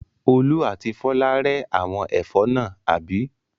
Olú àti Fọlá rẹ́ àwọn ẹ̀fọ́ náà, àbí?